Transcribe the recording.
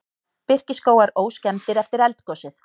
Birkiskógar óskemmdir eftir eldgosið